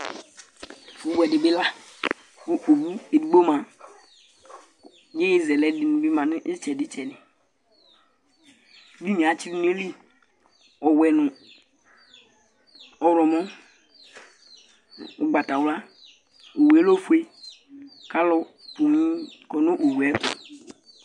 Owu ɛdiní bi la Owu ɛdigbo ma kʋ ɛzɛlɛ ɛdiní bi ma nʋ itsɛdi itsɛdi Ɛdiní atsi du nʋ ayìlí ɔwɛ nʋ ɔwlɔmɔ, ugbatawla Owu lɛ ɔfʋe kʋ alu poo kɔ nʋ owue tu